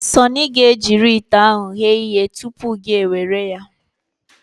Sunny ga-ejiri ite ahụ ghee ihe tụpụ gị ewere ya.